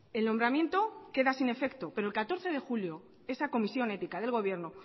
el nombramiento queda sin efecto pero el catorce de julio esa comisión ética del gobierno